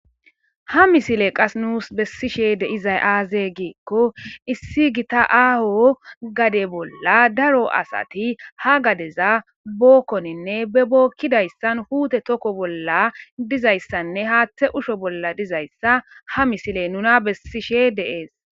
ha misile qas nuus bessishe de izay aaze giikko issi gita aaho gade bolla daro asati ha gadeza bookkoninne be bookkidayssan huute tokko bolla dizayssanne haaththe usho bolla dizayssa ha misile nuna bessishe deees